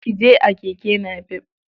Ki je a keke napep.